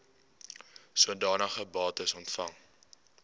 sodanige bates ontvang